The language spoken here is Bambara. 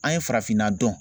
An ye farafinna dɔn